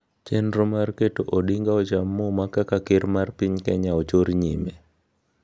Chenro mag keto Odinga ocham muma kaka Ker mar piny Kenya ochor nyime